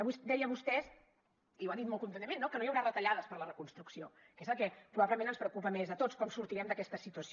avui deia vostè i ho ha dit molt contundentment que no hi haurà retallades per a la reconstrucció que és el que probablement ens preocupa més a tots com sortirem d’aquesta situació